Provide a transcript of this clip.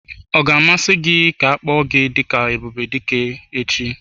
Ọ ga-amasị gị ka a kpọọ gị dị ka Ebubedike echi?